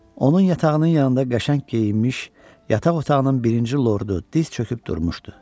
Onun yatağının yanında qəşəng geyinmiş yataq otağının birinci lordu diz çöküb durmuşdu.